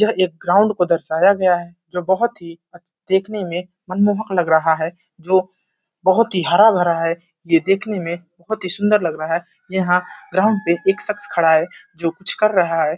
यह एक ग्राउन्ड को दर्शाया गया है जो बहुत ही देखने में मनमोहक लग रहा है जो बहुत ही हरा-भरा है। यह देखने में बहुत ही सुन्दर लग रहा है। यहाँ ग्राउंड पे एक शख्स खड़ा है जो कुछ कर रहा है।